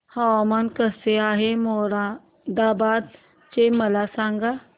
हवामान कसे आहे मोरादाबाद चे मला सांगा